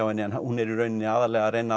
henni en hún er að reyna